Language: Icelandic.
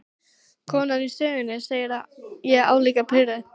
Konan í sögunni, segi ég álíka pirruð.